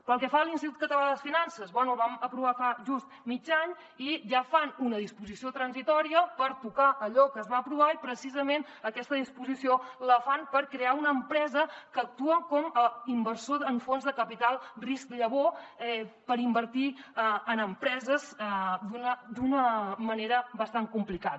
pel que fa a l’institut català de finances bé el vam aprovar fa just mig any i ja fan una disposició transitòria per tocar allò que es va aprovar i precisament aquesta disposició la fan per crear una empresa que actua com a inversor amb fons de capital risc llavor per invertir en empreses d’una manera bastant complicada